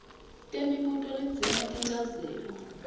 temibuto ledzinga tinchazelo